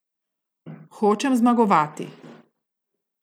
Hočem zmagovati.